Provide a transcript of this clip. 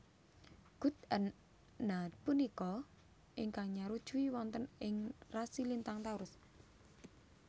Gud An na punika ingkang nyarujui wonten ing rasi lintang Taurus